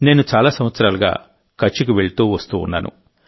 నేను చాలా సంవత్సరాలుగా కచ్కి వెళ్తూ వస్తూ ఉన్నాను